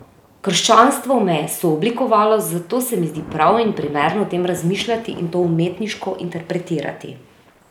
Krščanstvo me je sooblikovalo, zato se mi zdi prav in primerno o tem razmišljati in to umetniško interpretirati.